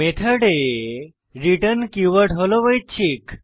মেথডে return keyword হল ঐচ্ছিক